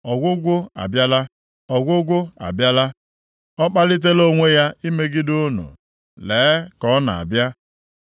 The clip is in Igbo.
Ọgwụgwụ abịala! Ọgwụgwụ abịala! Ọ kpalitela onwe ya imegide unu. Lee, ka ọ na-abịa!